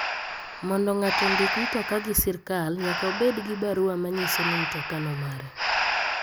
Mondo ngato ondik mtoka gi sirkal nyaka obed gi barua manyiso ni mtoka no mare.